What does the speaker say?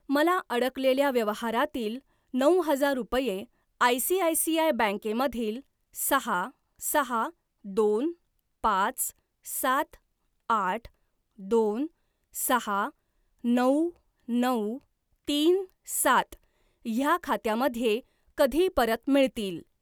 मला अडकलेल्या व्यवहारातील नऊ हजार रुपये आयसीआयसीआय बँके मधील सहा सहा दोन पाच सात आठ दोन सहा नऊ नऊ तीन सात ह्या खात्यामध्ये कधी परत मिळतील?